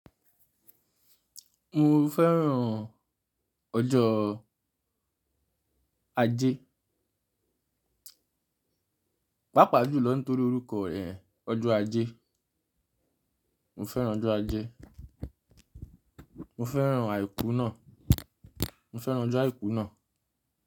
Mo fẹ́ràn ọjọ́ ajẹ́. Pápá jù lọ nítorí orúkọ rẹ̀, ọjọ́ ajẹ́. Mo fẹ́ràn ọjọ́ ajẹ́. Mo fẹ́ràn àìkú náà. Mo fẹ́ràn ọjọ́ àìkú náà.